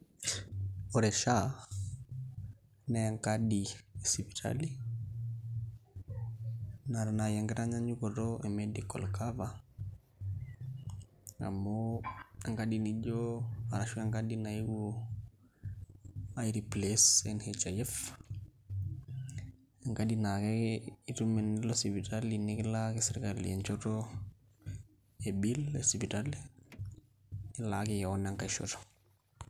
Ore SHA naa enkadi e sipitali naata naai enkitanyanyuko e medical cover amu enkadi nijio arashu enkadi naeuo aireplace NHIF, enkadi naa itum ataa tenilo sipitali nikilaaki sirkali enchoto e bill e sipitali nilaaki keon enkae shoto.